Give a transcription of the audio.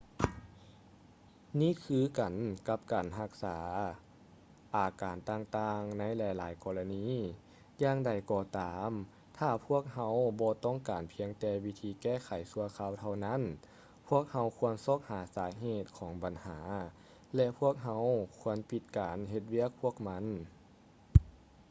ນີ້ຄືກັນກັບການຮັກສາອາການຕ່າງໆໃນຫຼາຍໆກໍລະນີ ຢ່າງໃດກໍຕາມຖ້າພວກເຮົາບໍ່ຕ້ອງການພຽງແຕ່ວິທີແກ້ໄຂຊົ່ວຄາວເທົ່ານັ້ນ ພວກເຮົາຄວນຊອກຫາສາເຫດຂອງບັນຫາ ແລະ ພວກເຮົາຄວນປິດການເຮັດວຽກພວກມັນ